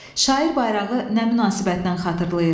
Şair bayrağı nə münasibətlə xatırlayır?